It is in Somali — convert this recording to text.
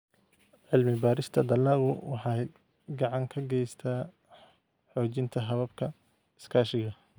Cilmi-baarista dalaggu waxay gacan ka geysataa xoojinta hababka iskaashiga.